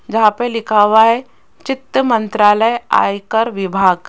जहां पे लिखा हुआ है चित्र मंत्रालय आयकर विभाग।